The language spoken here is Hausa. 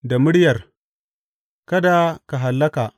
Da muryar Kada Ka Hallaka.